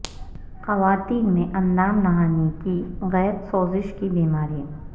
خواتین میں اندام نہانی کی غیر سوزش کی بیماری